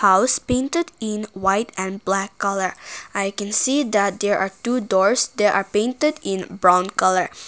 House painted in white and black colour i can see that there are two doors they are painted in brown colour.